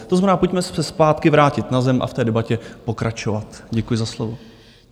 To znamená, pojďme se zpátky vrátit na zem a v té debatě pokračovat. Děkuji za slovo.